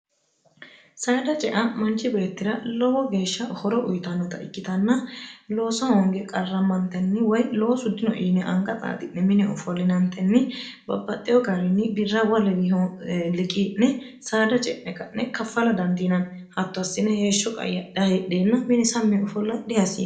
saada cea manchi beettira lowo geeshsha horo uyitannota ikkitanna looso hoonge qarrammantenni woy lowo su dino yine anga xaaxi'ne mine ofollinantenni babbaxxeyo gaariinni birrabwa lewiiho liqi'ne saada ce'ne qa'ne kaffala dandiinanni hatto assine heeshsho qaya dhahidheenna mini samm ofolla dihasiee